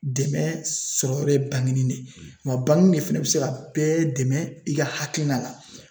Dɛmɛ sɔrɔ ye de wa de fɛnɛ bɛ se ka bɛɛ dɛmɛ i ka hakilina la